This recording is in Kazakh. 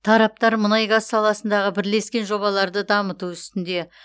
тараптар мұнай газ саласындағы бірлескен жобаларды дамыту үстінде